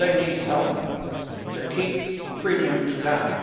they need help to keep premiums down.